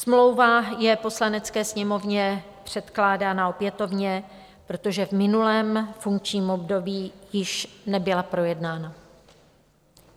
Smlouva je Poslanecké sněmovně předkládána opětovně, protože v minulém funkčním období již nebyla projednána.